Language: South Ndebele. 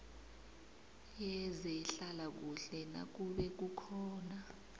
yezehlalakuhle nakube kukhona